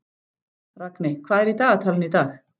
Ragney, hvað er í dagatalinu í dag?